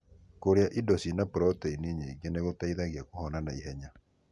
Kũrĩa indo cĩina proteini nyingi nĩ gũteithagia kũhona ihenya.